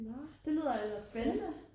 Nåh det lyder ellers spændende